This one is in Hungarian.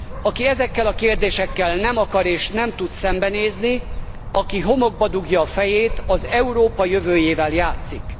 Aki ezekkel a kérdésekkel nem akar és nem tud szembenézni, aki homokba dugja a fejét, az Európa jövőjével játszik.